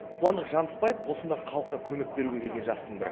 қуандық жанысбаев осындағы халыққа көмек беруге келген жастың бірі